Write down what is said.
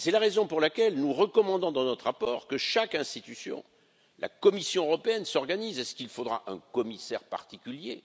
Et c'est la raison pour laquelle nous recommandons, dans notre rapport, que chaque institution, et notamment la Commission européenne, s'organise est ce qu'il faudra un commissaire particulier?